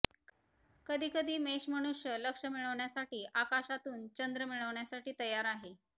कधी कधी मेष मनुष्य लक्ष मिळविण्यासाठी आकाशातून चंद्र मिळविण्यासाठी तयार आहे